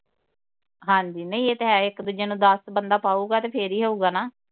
ਹਾਂਜੀ ਨਹੀ ਇਹ ਤੇ ਹੈ ਇਕ ਦੂਜੇ ਨੂੰ ਦੱਸ ਬੰਦਾ ਪਾਊਗਾ ਤੇ ਫਿਰ ਹੀ ਹੋਊਗਾ ਨਾ